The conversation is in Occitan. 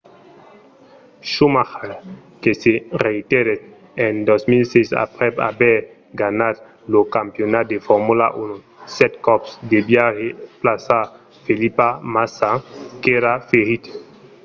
schumacher que se retirèt en 2006 aprèp aver ganhat lo campionat de formula 1 sèt còps deviá remplaçar felipe massa qu'èra ferit